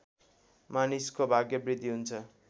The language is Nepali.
मानिसको भाग्यवृद्धि हुन्छ